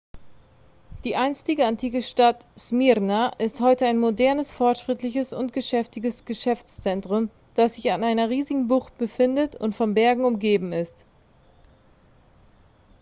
die einstige antike stadt smyrna ist heute ein modernes fortschrittliches und geschäftiges geschäftszentrum dass sich an einer riesigen bucht befindet und von bergen umgeben ist